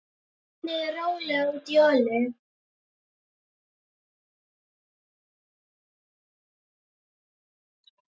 Hellið rólega út í olíu.